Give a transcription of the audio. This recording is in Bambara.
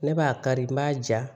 Ne b'a kari n b'a ja